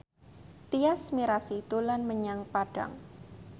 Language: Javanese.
Tyas Mirasih dolan menyang Padang